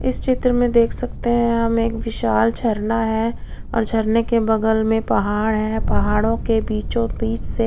इस चित्र में हम देख सकते है एक विशाल झरना है और झरने के बगल में पहाड़ है पहाडो के बीचो बिच से--